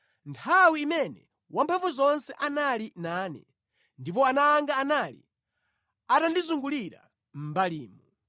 nthawi imene Wamphamvuzonse anali nane, ndipo ana anga anali atandizungulira mʼmbalimu,